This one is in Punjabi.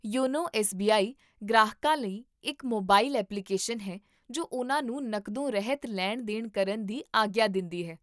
YONO SBI. ਗ੍ਰਾਹਕਾਂ ਲਈ ਇੱਕ ਮੋਬਾਈਲ ਐਪਲੀਕੇਸ਼ਨ ਹੈ ਜੋ ਉਹਨਾਂ ਨੂੰ ਨਕਦੋਂ ਰਹਿਤ ਲੈਣ ਦੇਣ ਕਰਨ ਦੀ ਆਗਿਆ ਦਿੰਦੀ ਹੈ